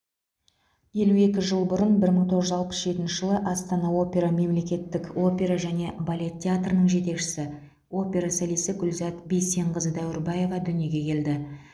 елу екі жыл бұрын бір мың тоғыз жүз алпыс жетінші жылы астана опера мемлекеттік опера және балет театрының жетекшісі опера солисі гүлзат бейсенқызы дәуірбаева дүниеге келді